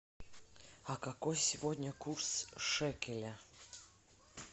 а какой сегодня курс шекеля